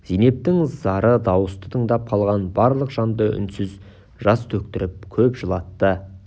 зейнептің зары дауысты тыңдап қалған барлық жанды үнсіз жас төктіріп көп жылатты